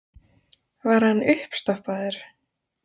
Var hann uppstoppaður?